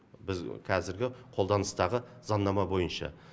біз қазіргі қолданыстағы заңнама бойынша